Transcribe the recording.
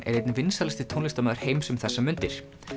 er einn vinsælasti tónlistarmaður heims um þessar mundir